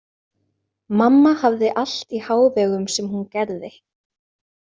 Mamma hafði allt í hávegum sem hún gerði.